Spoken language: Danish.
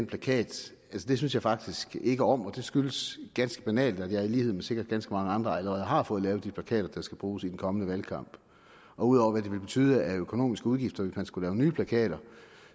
plakat synes jeg faktisk ikke om og det skyldes ganske banalt at jeg i lighed med sikkert ganske mange andre allerede har fået lavet de plakater der skal bruges i den kommende valgkamp og ud over hvad det ville betyde af økonomiske udgifter hvis man skulle lave nye plakater